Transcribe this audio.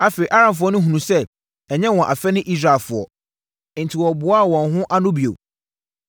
Afei, Aramfoɔ no hunuu sɛ ɛnyɛ wɔn afɛ ne Israelfoɔ. Enti, wɔboaa wɔn ho ano bio no.